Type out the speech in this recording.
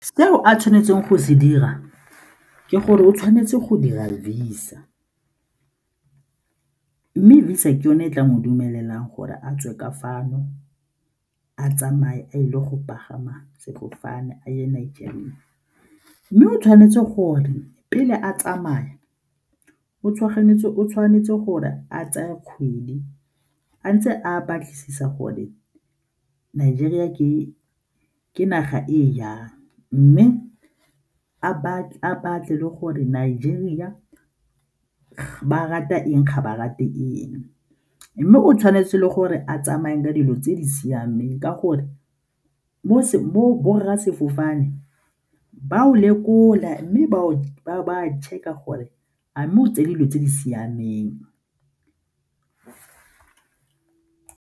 Seo a tshwanetseng go se dira ke gore o tshwanetse go dira Visa mme Visa ke yone e tla mo dumelelang gore a tswe ka fano a tsamaye a ile go pagama sefofane a yone Nigeria, mme o tshwanetse gore pele a tsamaya o tshwanetse gore a tseye kgwedi a ntse a batlisisa gore Nigeria ke naga e jang mme a batle gore Nigeria ba rata eng ga ba rate eng mme o tshwanetse gore a tsamaye ka dilo tse di siameng ka gore mo borra sefofane ba o lekola mme ba check-a gore a mme o tsere dilo tse di siameng.